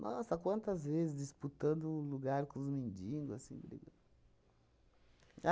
Nossa, quantas vezes disputando o lugar com os mendigos, assim.